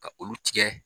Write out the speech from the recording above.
Ka olu tigɛ